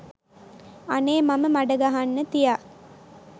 අනේ මම මඩ ගහන්න තියා